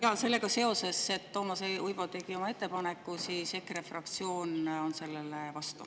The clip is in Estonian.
Jaa, sellega seoses, et Toomas Uibo tegi oma ettepaneku, ütlen, et EKRE fraktsioon on sellele vastu.